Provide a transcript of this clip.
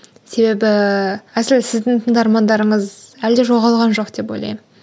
себебі әсілі сіздің тыңдармандарыңыз әлі де жоғалған жоқ деп ойлаймын